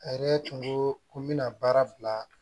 A yɛrɛ tun ko ko n bɛna baara bila